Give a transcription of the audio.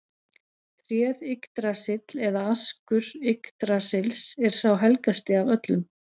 Tréð Yggdrasill eða askur Yggdrasils er sá helgasti af öllum.